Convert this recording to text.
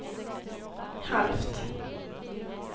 halvt